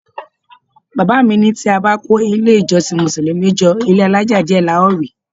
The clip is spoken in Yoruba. Bàbá mi ní tí a bá kó ilé-ìjọsìn Mùsùlùmí jọ, ilé-alaja díẹ̀ la ó rí.